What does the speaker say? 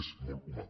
és molt humà